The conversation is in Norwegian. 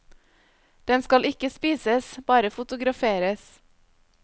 Den skal ikke spises, bare fotograferes.